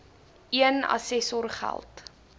een assessor geld